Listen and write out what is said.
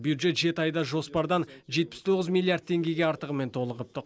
бюджет жеті айда жоспардан жетпіс тоғыз миллиард теңгеге артығымен толығыпты